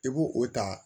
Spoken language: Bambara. I b'o o ta